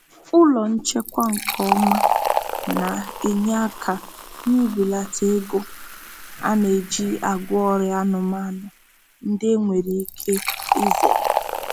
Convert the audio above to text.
Ụlọ nchekwa nke ọma na-enye aka n'ibelata ego a na-eji agwọ ọrịa anụmanụ ndị enwere ike izere.